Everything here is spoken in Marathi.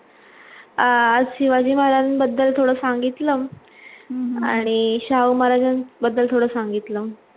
अं शिवाजी महाराजांबद्दल थोडं सांगितलं आणि शाहू महाराजांबद्दल थोडं सांगितलं